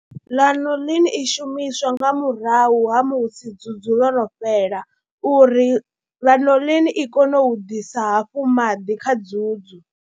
Lanolin i shumiswa nga murahu ha musi dzudzu ḽo no fhela uri Lanolin i kone u ḓisa hafhu maḓi kha dzudzu.